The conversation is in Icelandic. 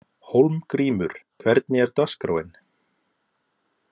Hólmgrímur, hvernig er dagskráin?